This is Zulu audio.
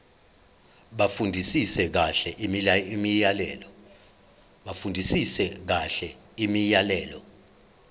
bafundisise kahle imiyalelo